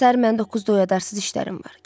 Səhər məni doqquzda oyadarsız işlərim var.